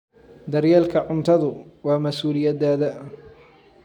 Daryeelka cuntadu waa mas'uuliyaddayada.